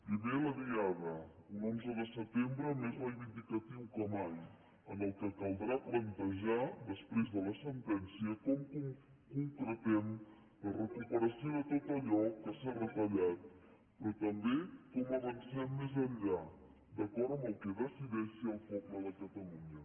primer la diada un onze de setembre més reivindicatiu que mai en què caldrà plantejar després de la sentència com concretem la recuperació de tot allò que s’ha retallat però també com avancem més enllà d’acord amb el que decideixi el poble de catalunya